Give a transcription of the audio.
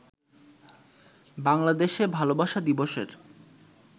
বাংলাদেশে ভালবাসা দিবসের